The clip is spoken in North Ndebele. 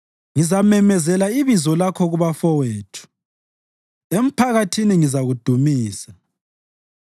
Ngizamemezela ibizo Lakho kubafowethu; emphakathini ngizakudumisa.